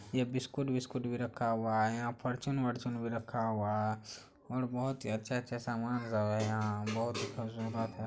यह बिस्कुट-बिस्कुट भि रखा हुआ है । यहाँ फॉर्च्यूनर - फॉर्च्यूनर भि रखा हुआ है और बहोत ही अच्छा अच्छा सामान सब है यहाँ बहोत ही खूबसूरत है ।